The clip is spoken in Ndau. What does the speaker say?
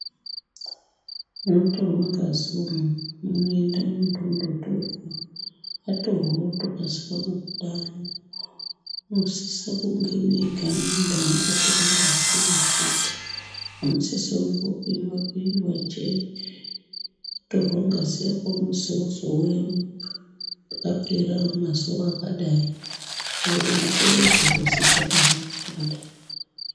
Munotorwa ngazi umu, munoenda muntu wondotorwa. Atorwa otokasika kubuda. Munosise kunge meigara muntu anongotore ngazi pamubhedha. Hamusise kungogarwa kungopindwa pindwa njee. Wotorwa ngazi yako unozi wozouya papera mazuwa akadai, woronzerwa kuzi zvakahamba zvakadai.